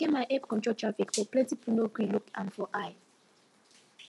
eke man help control traffic but plenty people no gree look am for eye